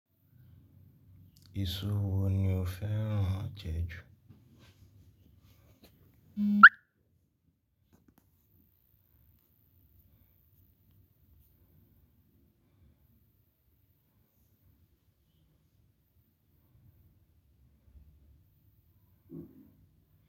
Eṣó wo ni o fẹ́rán jẹ́ ju?